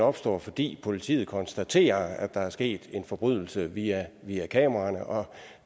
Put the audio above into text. opstår fordi politiet konstaterer at der er sket en forbrydelse via kameraerne og